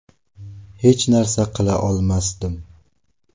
Hech narsa qila olmasdim.